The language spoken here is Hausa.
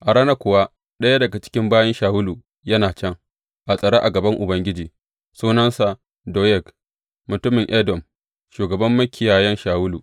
A ranar kuwa, ɗaya daga cikin bayin Shawulu yana can, a tsare a gaban Ubangiji, sunansa Doyeg, mutumin Edom, shugaban makiyayan Shawulu.